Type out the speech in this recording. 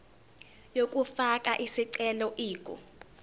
yokufaka isicelo ingu